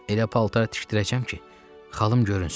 Elə paltar tikdirəcəm ki, xalım görünsün.